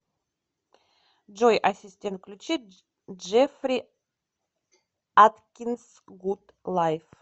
джой ассистент включи джеффри аткинс гуд лайф